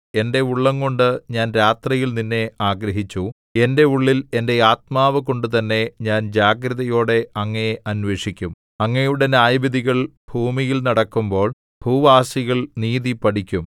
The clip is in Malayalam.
എന്റെ ഉള്ളംകൊണ്ട് ഞാൻ രാത്രിയിൽ നിന്നെ ആഗ്രഹിച്ചു എന്റെ ഉള്ളിൽ എന്റെ ആത്മാവുകൊണ്ടുതന്നെ ഞാൻ ജാഗ്രതയോടെ അങ്ങയെ അന്വേഷിക്കും അങ്ങയുടെ ന്യായവിധികൾ ഭൂമിയിൽ നടക്കുമ്പോൾ ഭൂവാസികൾ നീതി പഠിക്കും